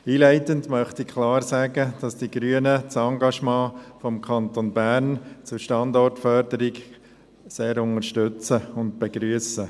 Einleitend möchte ich klar sagen, dass die Grünen das Engagement des Kantons Bern zur Standortförderung sehr unterstützen und begrüssen.